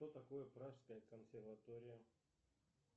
что такое пражская консерватория